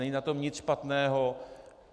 Není na tom nic špatného.